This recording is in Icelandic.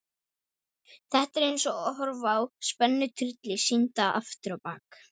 Þetta er eins og að horfa á spennutrylli sýndan afturábak.